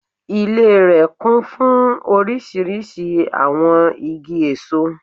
Ilé rè kún fún orísirísi àwon igi èso